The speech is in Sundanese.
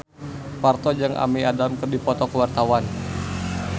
Parto jeung Amy Adams keur dipoto ku wartawan